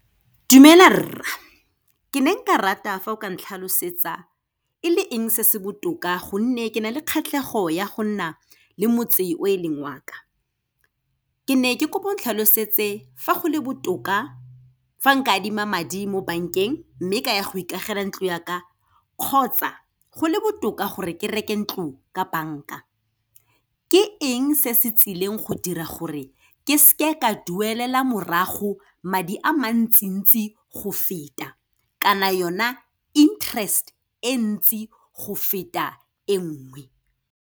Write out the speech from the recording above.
Dumela rra, ke ne nka rata fa o ka ntlhalosetsa e le eng se se botoka gonne ke na le kgatlhego ya go nna le motse o e leng waka. Ke ne ke kopo ong tlhalosetse fa go le botoka fa nka adima madi mo bank-eng mme ka ya go ikagele ntlo ya ka, kgotsa go le botoka gore ke reke ntlo ka bank-a. Ke eng se se tsileng go dira gore ke se ke, ke a duelela morago madi a mantsintsi go feta, kana yona interest-e e ntsi go feta e nngwe.